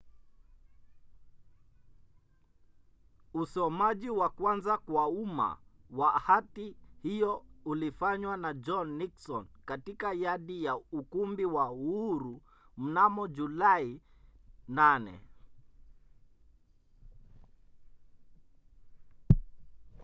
usomaji wa kwanza kwa umma wa hati hiyo ulifanywa na john nixon katika yadi ya ukumbi wa uhuru mnamo julai 8